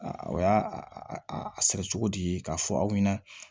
o y'a a sɛnɛ cogodi k'a fɔ aw ɲɛna